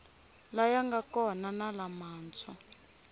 laya nga kona na lamantshwa